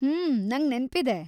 ಹ್ಮೂ, ನಂಗ್ ನೆನ್ಪಿದೆ.